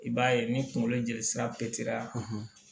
I b'a ye ni kunkolo jeli sira periya